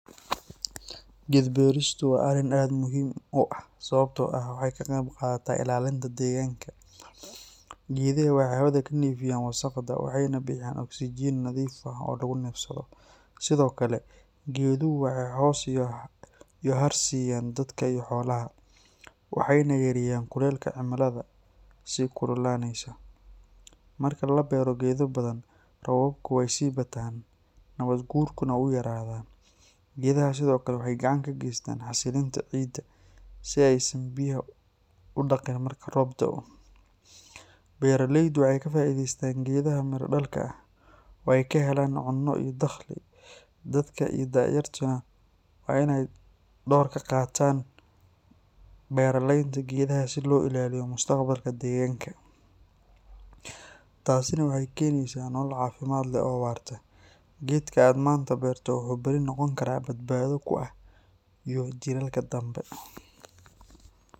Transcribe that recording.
Geedka beertiisu waa arrin aad muhiim u ah sababtoo ah waxay ka qayb qaadataa ilaalinta deegaanka. Geedaha waxay hawada ka nadiifiyaan wasakhda waxayna bixiyaan oksijiin nadiif ah oo lagu neefsado. Sidoo kale, geeduhu waxay hoos iyo hadh siiyaan dadka iyo xoolaha, waxayna yareeyaan kuleylka cimilada sii kululaanaysa. Marka la beero geedo badan, roobabku way sii bataan, nabaadguurkuna wuu yaraadaa. Geedaha sidoo kale waxay gacan ka geystaan xasilinta ciidda si aysan biyuhu u dhaq-dhaqin marka roob da’o. Beeraleydu waxay ka faa’iidaystaan geedaha miro-dhalka ah oo ay ka helaan cunno iyo dakhli. Dadka iyo da’yartuba waa inay door ka qaataan beeraleynta geedaha si loo ilaaliyo mustaqbalka deegaankeenna. Taasina waxay keenaysaa nolol caafimaad leh oo waarta. Geedka aad maanta beerto wuxuu berri noqon karaa badbaado kuu ah iyo jiilalka dambe.